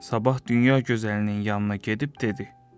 Sabah dünya gözəlinin yanına gedib dedi: